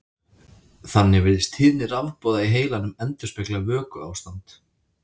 Þannig virðist tíðni rafboða í heilanum endurspegla vökuástand.